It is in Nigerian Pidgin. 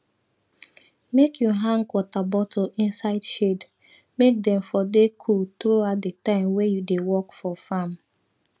make u hang water bottle inside shade make dem for dey cool throughout the time wey u dey work for farm